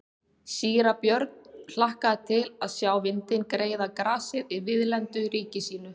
Síra Björn hlakkaði til að sjá vindinn greiða grasið í víðlendu ríki sínu.